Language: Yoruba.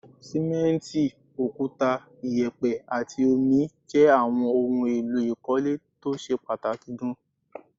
Sìmẹ́ǹtì, òkúta, ìyẹ̀pẹ̀ àti omi jẹ́ àwọn ohun èlò ìkọ́lé tó ṣe pàtàkì gaan